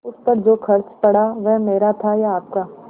उस पर जो खर्च पड़ा वह मेरा था या आपका